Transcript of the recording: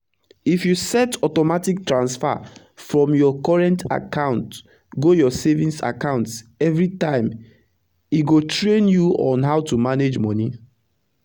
if you set automatic transfer from your current account go your savings account everi time e go train you on how to manage moni